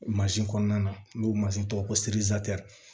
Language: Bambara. kɔnɔna na n'u mansin tɔgɔ ko